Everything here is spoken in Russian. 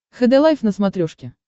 хд лайф на смотрешке